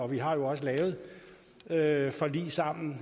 vi har jo også lavet lavet forlig sammen